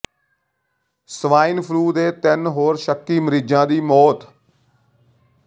swine flu ਦੇ ਤਿੰਨ ਹੋਰ ਸ਼ੱਕੀ ਮਰੀਜ਼ਾਂ ਦੀ ਮੌਤ